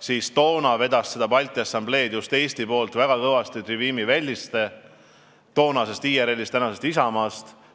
siis vedas Balti Assamblee Eesti poolt väga kõvasti Trivimi Velliste toonasest IRL-ist, tänasest Isamaast.